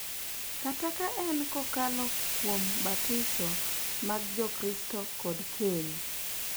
Kata ka en kokalo kuom batiso mag Jokristo kod keny .